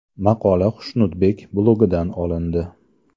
Maqola Xushnudbek blogi dan olindi.